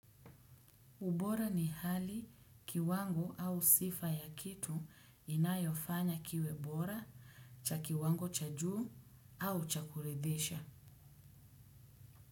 Ubora ni hali kiwango au sifa ya kitu inayofanya kiwe bora cha kiwango cha juu au cha kuridhisha.